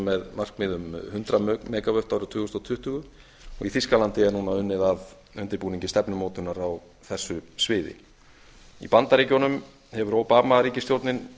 með markmið um hundrað mega vöttum árið tvö þúsund tuttugu og í þýskalandi er núna unnið að undirbúningi stefnumótunar á þessu sviði í bandaríkjunum hefur obama ríkisstjórnin